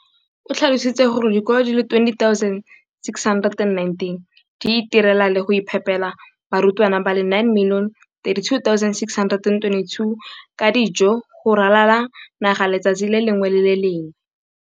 o tlhalositse gore dikolo di le 20 619 di itirela le go iphepela barutwana ba le 9 032 622 ka dijo go ralala naga letsatsi le lengwe le le lengwe.